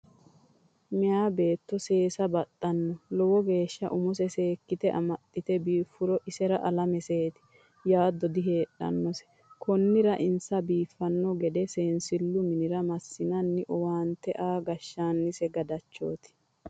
Meya beetto seessa baxano lowo geeshsha umose seekkite amaxite biifuro isera alameseti yaado diheedhanose konira insa biifano gede seensilu minira massinanni owaante aa gashshaanise gadachoti.